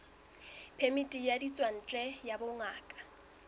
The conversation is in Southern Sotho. phemiti ya ditswantle ya bongaka